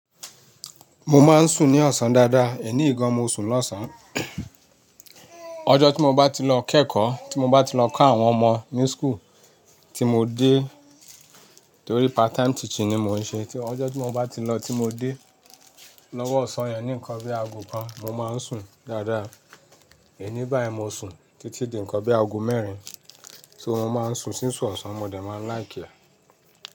Mo máa ń sùn ní ọ̀sán dáadáa, èní ìgan mo sùn lọ́sàn. Ọjọ́ tí mo bá ti lọ kẹ́kọ̀ọ́, tí mo bá ti lọ kó àwọn ọmọ mi school tí mo dé, torí part time teacher ni mò ń ṣe. Tí ọjọ́ tí mo bá ti lọ tí mo dé lọ́wọ́ ọ̀sán yẹn ní nǹkan bí i ago kan mo máa ń sùn dáadáa, èní bá ẹ mo sùn títí di nǹkan bí i ago mẹ́rin tí mo máa ń sùn sísù ọ̀sán ọmọdé máa ń láyì ọ́